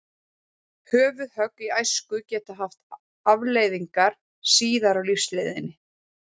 Höfuðhögg í æsku geta haft afleiðingar síðar á lífsleiðinni.